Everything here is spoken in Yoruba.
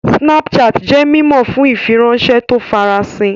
Snapchat jẹ́ mímọ̀ fún ìfiránṣẹ́ tó ń farasin